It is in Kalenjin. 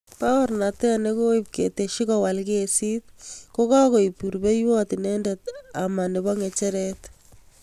Baorianeet chegooib ketesyet kowaal kesiit, ko kagoib rubeiiyot inendet ama nebo ng'echeret.